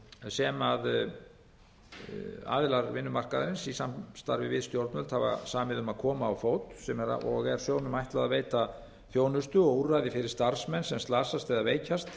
sem aðilar vinnumarkaðarins í samstarfi við stjórnvöld hafa samið um að koma á fót og er sjóðnum ætlað að veita þjónustu og úrræði fyrir starfsmenn sem slasast eða veikjast